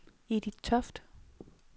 Edith Toft